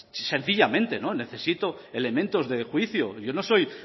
sencillamente necesito elementos de juicio yo no soy